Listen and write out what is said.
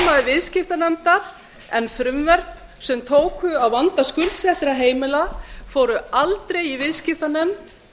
viðskiptanefndar en frumvörp sem tóku á vanda skuldsettra heimila fóru aldrei í viðskiptanefnd